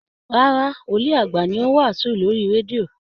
Rárá, Wòlìí àgbà ni ó ń wàásù lórí radio